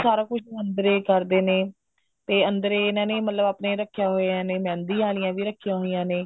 ਸਾਰਾ ਕੁੱਛ ਅੰਦਰੇ ਹੀ ਕਰਦੇ ਨੇ ਤੇ ਅੰਦਰੇ ਹੀ ਇਹਨਾ ਨੇ ਆਪਣੇ ਮਤਲਬ ਰੱਖਿਆ ਹੋਇਆ ਐ ਮਹਿੰਦੀ ਆਲੀ ਵੀ ਰੱਖਿਆ ਹੋਇਆ ਨੇ